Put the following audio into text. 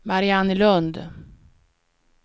Mariannelund